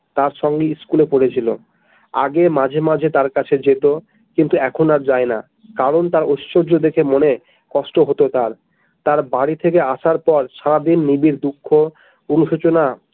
তার সঙ্গে school এ পড়েছিল আগে মাঝে মাঝে তার কাছে যেত কিন্তু এখন আর যায় না কারণ তার ঐশর্য দেখে মনে কষ্ট হত তার বাড়ি থেকে আসার পর সারাদিন নিজের দুঃখ অসূচনা।